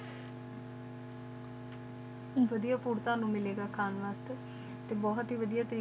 ਵਾਡੀਆ ਪੁਰਰ ਨੂ ਮਿਲੇ ਗਾ ਖਾਨ ਵਾਸਤੇ ਟੀ ਬੋਹਤ ਹੀ ਵਾਡੀਆ ਤਰੀਕ਼ੇ ਦੀਆਂ